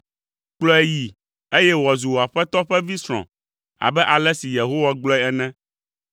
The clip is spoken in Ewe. Kplɔe yi, eye wòazu wò aƒetɔ ƒe vi srɔ̃ abe ale si Yehowa gblɔe ene.”